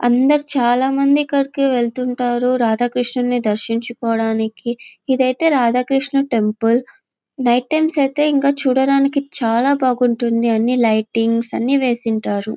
అందరు చాల మంది ఇక్కడికి వెళ్తూఉంటారు రాధ కృషునుని దర్శించుకోటానికి ఇది ఐతే రాధ కృషునుని టెంపుల్ నైట్ టైం ఐతే ఇంకా చూడడానికి చాల బాగా ఉంటుంది అన్ని లైటింగ్స్ అన్ని వేసి ఉంటారు.